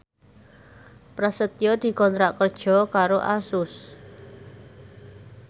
Prasetyo dikontrak kerja karo Asus